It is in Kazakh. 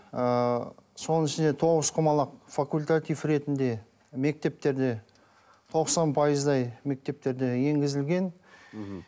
ыыы соның ішінде тоғызқұмалақ факультатив ретінде мектептерде тоқсан пайыздай мектептерде енгізілген мхм